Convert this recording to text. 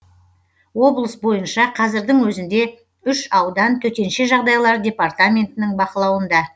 облыс бойынша қазірдің өзінде үш аудан төтенше жағдайлар департаментінің бақылауында